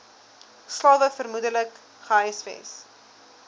slawe vermoedelik gehuisves